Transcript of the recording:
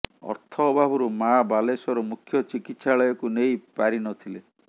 ଅର୍ଥ ଅଭାବରୁ ମାଆ ବାଲେଶ୍ବର ମୁଖ୍ୟ ଚିକିତ୍ସାଳୟକୁ ନେଇ ପାରି ନ ଥିଲେ